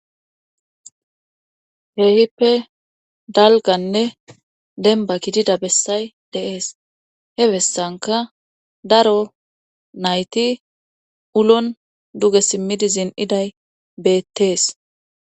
Heehippe dalganne denba gidida bessay deees hebessanka daro nayti ulon duge simmidizin iday beettees.